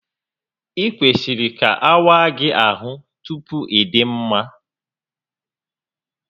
Ị kwesịrị ka awaa gị ahụ tupu ịdị mma